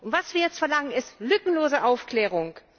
Was wir jetzt verlangen, ist lückenlose Aufklärung.